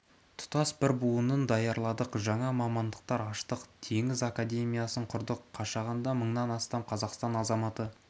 тұтас бір буынын даярладық жаңа мамандықтар аштық теңіз академиясын құрдық қашағанда мыңнан астам қазақстан азаматы